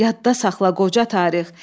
Yadda saxla qoca tarix.